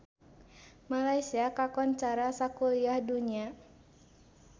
Malaysia kakoncara sakuliah dunya